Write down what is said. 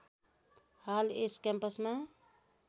हाल यस क्याम्पसमा